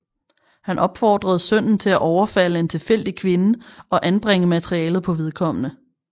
Han opfordrede sønnen til at overfalde en tilfældig kvinde og anbringe materialet på vedkommende